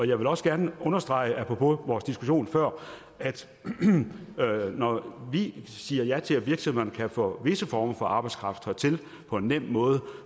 jeg vil også gerne understrege apropos vores diskussion før at når vi siger ja til at virksomhederne kan få visse former for arbejdskraft hertil på en nem måde